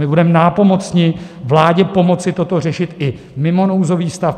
My budeme nápomocni vládě pomoci toto řešit i mimo nouzový stav.